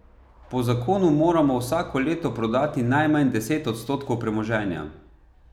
Po zakonu moramo vsako leto prodati najmanj deset odstotkov premoženja.